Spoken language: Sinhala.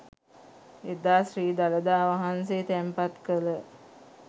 එදා ශ්‍රී දළදා වහන්සේ තැන්පත් කළ